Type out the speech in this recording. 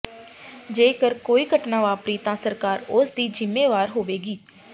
ਜੇਕਰ ਕੋਈ ਘਟਨਾ ਵਾਪਰੀ ਤਾਂ ਸਰਕਾਰ ਉਸ ਦੀ ਜਿੰਮੇਵਾਰ ਹੋਵੇਗੀ